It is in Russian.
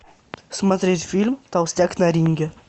смотреть фильм толстяк на ринге